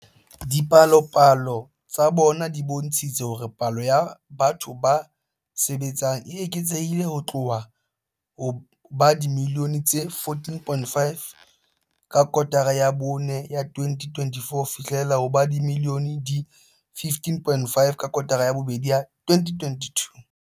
Dipalopalo tsa bona di bontshitse hore palo ya batho ba sebetsang e eketsehile ho tloha ho ba dimilione di 14.5 ka kotara ya bone ya 2021 ho fihlela ho ba dimilione di 15.5 ka kotara ya bobedi ya 2022.